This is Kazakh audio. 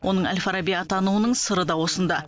оның әл фараби атануының сыры да осында